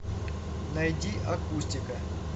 найди акустика